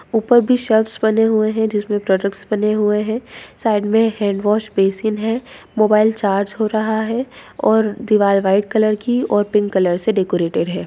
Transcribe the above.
ऊपर भी शेल्वस बने हुए हैं जिसमें प्रोडक्ट्स बने हुए हैं साइड में हैंडवाश बेसिन हैं मोबाइल चार्ज हो रहा है और दीवार व्हाइट की और पिंक कलर से डेकोरेटेड है।